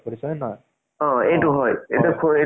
ছোৱালী কেটাই, ছোৱালী friend কেইটা। ভাল লাগে আৰু।